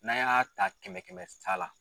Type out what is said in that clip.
N'an y'a ta kɛmɛ kɛmɛ sa la.